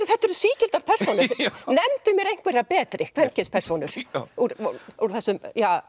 þetta eru sígildar persónur nefndu mér einhverja betri kvenkyns persónur úr úr þessum